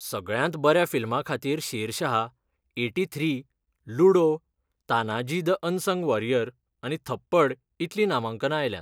सगळ्यांत बऱ्या फिल्मा खातीर Shershaah, eighty three , Ludo, Tanaji the unsung warrior आनी थप्पड इतलीं नामांकना आयल्यांत.